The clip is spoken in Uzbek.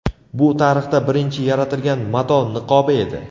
Bu tarixda birinchi yaratilgan mato niqobi edi.